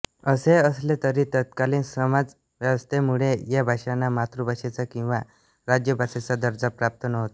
असे असले तरी तत्कालीन समाजव्यवस्थेमुळे या भाषांना मातृभाषेचा किंवा राज्यभाषेचा दर्जा प्राप्त नव्हता